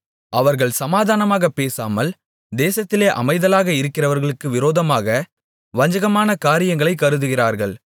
அவர்கள் சமாதானமாகப் பேசாமல் தேசத்திலே அமைதலாக இருக்கிறவர்களுக்கு விரோதமாக வஞ்சகமான காரியங்களைக் கருதுகிறார்கள்